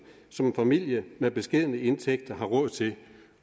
som en familie med beskedne indtægter har råd til